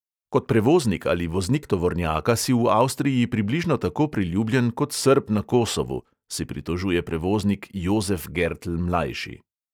Kot prevoznik ali voznik tovornjaka si v avstriji približno tako priljubljen kot srb na kosovu, se pritožuje prevoznik jozef gertl mlajši.